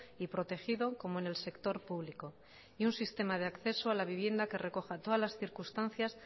y protegido como en el sector público y un sistema de acceso a la vivienda que recoja todas las circunstancias